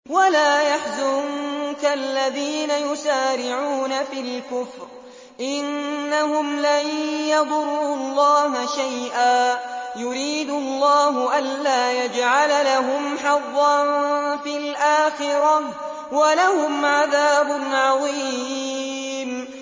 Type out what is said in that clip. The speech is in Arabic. وَلَا يَحْزُنكَ الَّذِينَ يُسَارِعُونَ فِي الْكُفْرِ ۚ إِنَّهُمْ لَن يَضُرُّوا اللَّهَ شَيْئًا ۗ يُرِيدُ اللَّهُ أَلَّا يَجْعَلَ لَهُمْ حَظًّا فِي الْآخِرَةِ ۖ وَلَهُمْ عَذَابٌ عَظِيمٌ